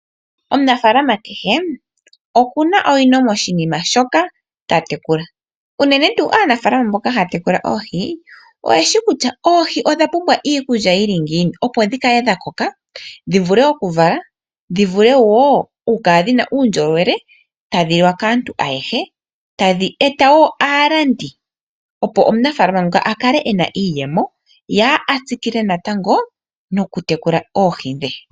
Omunafaalama kehe okuna owino moshinima shoka tatekula unene tuu aanafaalama mboka haya tekula oohi oyeshi kutya oohi odhapumbwa iikulya yili ngiini opo dhikale dha koka dhivule okuvala dhivule woo okukala dhina uundjolowele tadhi liwa kaantu ayehe. Tadhi eta woo aalandi opo omunafaalama nguka akale ena iiyemo ye atsikile natango noku tekula oohi dhe.